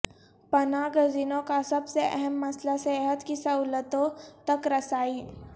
پناہ گزینوں کا سب سے اہم مسئلہ صحت کی سہولتوں تک رسائی